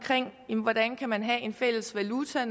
hvordan man have en fælles valuta